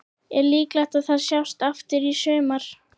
Er líklegt að það sjáist aftur í sumar?